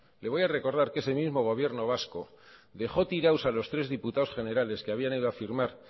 le voy a recordar que ese mismo gobierno vasco dejó tirados a los tres diputados generales que habían ido a firmar